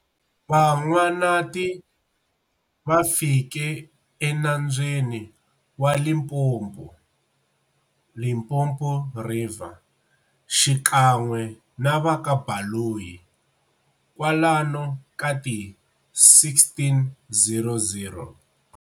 Van'wanati va fike e nambyeni wa Limpopo, Limpopo River, xikan'we na va ka Baloyi kwalano ka ti 1600.